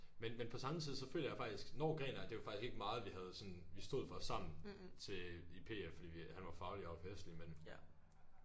Men men på samme tid så føler jeg faktisk når gren er det var faktisk ikke meget vi havde sådan vi stod for sammen til i P F fordi vi han var faglig jeg var festlig men